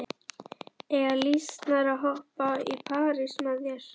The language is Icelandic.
Eiga lýsnar að hoppa í parís með þér?